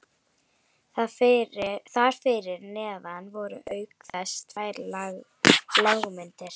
Þar fyrir neðan voru auk þess tvær lágmyndir